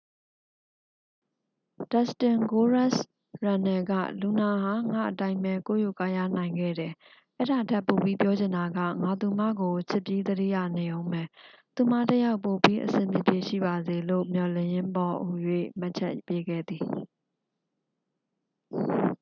"ဒက်စတင် "ဂိုးရက်စ်" ရန်နယ် က "လူနာ ဟာ ငါ့အတိုင်းပဲ ကိုးရိုးကားရားနိုင်ခဲ့တယ်...အဲဒါထက်ပိုပြီးပြောချင်တာက...ငါသူမကို ချစ်ပြီး သတိရနေဦးမယ်...သူမတစ်ယောက် ပိုပြီးအဆင်ပြေပြေ ရှိပါစေလို့ မျှော်လင့်ရင်းပေါ့" ဟူ၍ မှတ်ချက်ပေးခဲ့သည်။